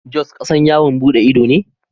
Jos kasan yawon bude ido ne.